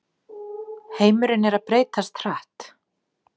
Heimurinn er að breytast hratt